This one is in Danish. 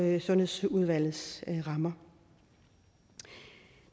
i sundhedsudvalgets rammer